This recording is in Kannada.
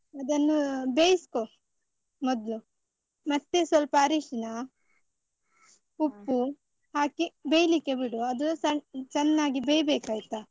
ಅದನ್ನು ಬೇಯಿಸ್ಕೊ ಮೊದ್ಲು, ಮತ್ತೆ ಸ್ವಲ್ಪ ಅರಿಶಿನ, ಉಪ್ಪು ಹಾಕಿ ಬೆಯ್ಲಿಕ್ಕೆ ಬಿಡು ಅದು ಚೆನ್ನಾಗಿ ಬೇಯ್ಬೇಕಯ್ತಾ.